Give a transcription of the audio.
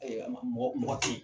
ma mɔgɔ mɔgɔ tɛ yi.